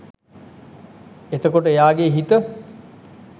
එතකොට එයාගේ හිත